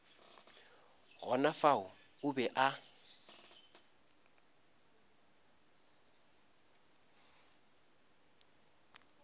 gona fao o be a